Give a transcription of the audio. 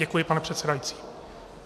Děkuji, pane předsedající.